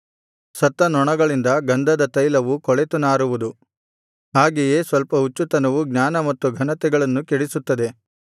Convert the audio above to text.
ಸತ್ತ ನೊಣಗಳಿಂದ ಗಂಧದತೈಲವು ಕೊಳೆತು ನಾರುವುದು ಹಾಗೆಯೇ ಸ್ವಲ್ಪ ಹುಚ್ಚುತನವು ಜ್ಞಾನ ಮತ್ತು ಘನತೆಗಳನ್ನು ಕೆಡಿಸುತ್ತದೆ